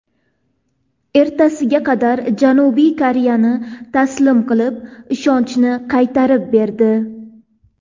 Ertasiga Qatar Janubiy Koreyani taslim qilib, ishonchni qaytarib berdi.